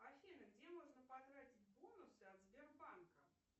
афина где можно потратить бонусы от сбербанка